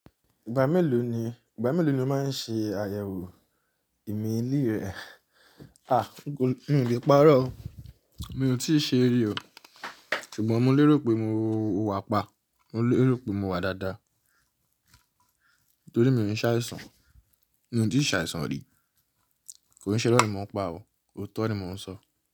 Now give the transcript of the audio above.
Ìgbà mélòó ni, ìgbà mélòó lo máa ń ṣe àyẹ̀wò ìmeelí rẹ? A! N ò lè parọ́ o. Mi ò tíì ṣe rí o. Ṣùgbọ́n mo lérò pé mo wà pa. Mo lérò pé mo wà dáadáa. Nítorí mi ò ní ṣàìsàn. Mi ò tí ì ṣàìsàn rí. Kò n ṣẹ́ irọ̀ ni mo ń pa ọ. Oòtọ́ ni mo ń sọ.